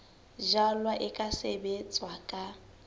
jalwa e ka sebetswa ka